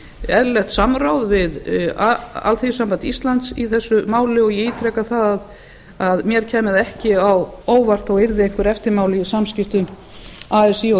eðlilegt samráð við alþýðusamband íslands í þessu máli og ég ítreka að mér kæmi það ekki á óvart þó yrði einhver eftirmáli í samskiptum así og